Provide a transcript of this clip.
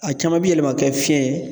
A caman bi yɛlɛma ka kɛ fiɲɛ ye